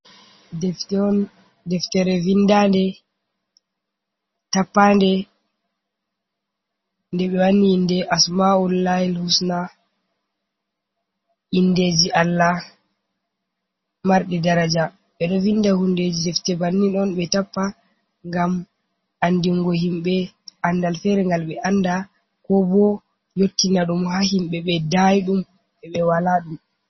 Deftere vindande tappane nde be wanni inde asmaul layi husna indeji Allah. Marnde daraja ɓeɗo vinda hundeji defte banni on be tappa ngam andingo himɓe andal fere ngal ɓe anda ko bo yottina dum ha himbe be dayidum ɓe ɓe wala ɗum.